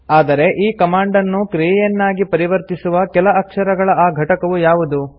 ಆದರೆ ಈ ಕಮಾಂಡ್ ನ್ನು ಕ್ರಿಯೆಯನ್ನಾಗಿ ಪರಿವರ್ತಿಸುವ ಕೆಲ ಅಕ್ಷರಗಳ ಆ ಘಟಕವು ಯಾವುದು